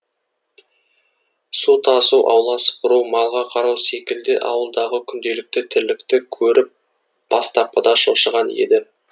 су тасу аула сыпыру малға қарау секілді ауылдағы күнделікті тірлікті көріп бастапқыда шошыған еді